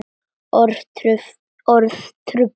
Orð trufla.